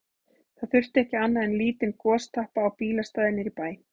Það þurfti ekki annað en lítinn gostappa á bílastæði niðri í bæ.